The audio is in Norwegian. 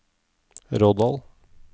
Rådal